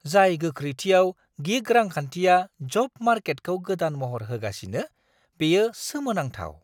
जाय गोख्रैथियाव गिग रांखान्थिया जब मार्केटखौ गोदान महर होगासिनो, बेयो सोमोनांथाव!